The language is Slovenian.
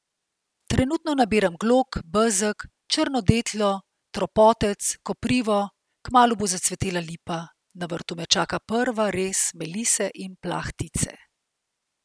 Trenutno nabiram glog, bezeg, črno deteljo, trpotec, koprivo, kmalu bo zacvetela lipa, na vrtu me čaka prva rez melise in plahtice.